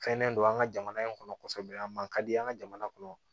Fɛnnen don an ka jamana in kɔnɔ kɔsɛbɛ a man ka di an ka jamana kɔnɔ